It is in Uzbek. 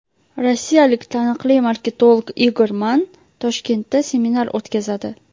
Rossiyalik taniqli marketolog Igor Mann Toshkentda seminar o‘tkazadi.